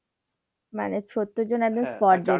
মানে সত্তর জন একদম spot dead